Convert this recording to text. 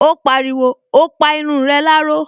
Ó pariwo, "O pa irun rẹ láró"